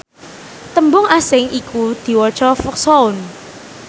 tembung asing iku diwaca foxhound